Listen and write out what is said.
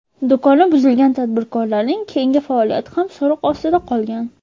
Do‘koni buzilgan tadbirkorlarning keyingi faoliyati ham so‘roq ostida qolgan.